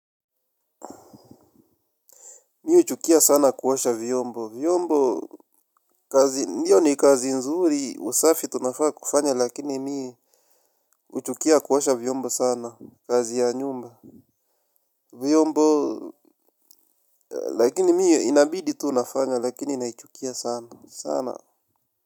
Mi huchukia sana kuosha vyombo vyombo kazi hiyo ni kazi nzuri usafi tunafaa kufanya lakini mi huchukia kuosha vyombo sana kazi ya nyumba. Vyombo lakini mi inabidi tu unafanya lakini naichukia sana sana na main.